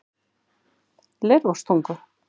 Leirvogstungu